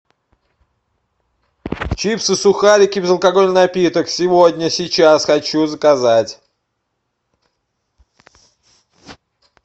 чипсы сухарики безалкогольный напиток сегодня сейчас хочу заказать